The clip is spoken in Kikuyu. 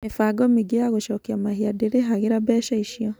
Mĩbango mĩingĩ ya gũcokia mahia ndĩrĩhagĩra mbeca icio.